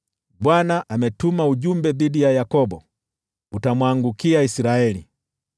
Bwana ametuma ujumbe dhidi ya Yakobo, utamwangukia Israeli.